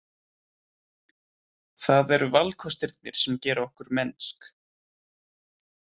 Það eru valkostirnir sem gera okkar mennsk.